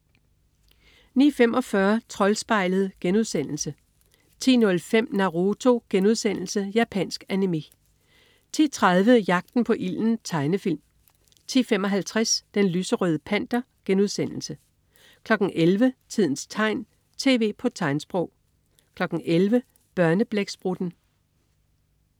09.45 Troldspejlet* 10.05 Naruto.* Japansk animé 10.30 Jagten på ilden. Tegnefilm 10.55 Den lyserøde Panter* 11.00 Tidens tegn, tv på tegnsprog 11.00 Børneblæksprutten